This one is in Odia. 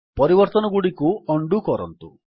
ପରିବର୍ତ୍ତନଗୁଡ଼ିକୁ ଉଣ୍ଡୋ କରନ୍ତୁ